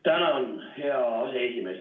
Tänan, hea aseesimees!